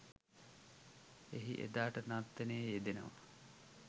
එහි එදාට නර්තනයේ යෙදෙනවා.